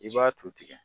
I b'a to tigɛ